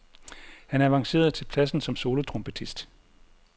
Han avancerede til pladsen som solotrompetist.